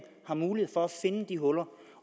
har mulighed for at finde de huller